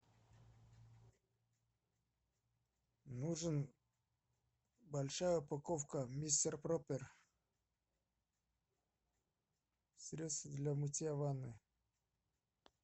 нужен большая упаковка мистер проппер средство для мытья ванны